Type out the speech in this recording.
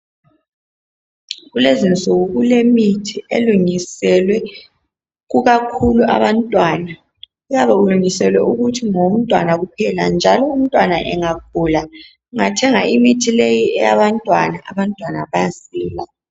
Kulezinsuku kulemithi elungiselwe kukakhulu abantwana kuyabe kulungiselwe ukuthi ngowontwana kuphela njalo umntwana engagula ungathenga umuthi leyi eyabantwana, abantwanaumntwana bayasila